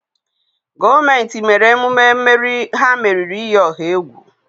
gọọmenti mere emume mmeri ha meriri iyi ọha egwu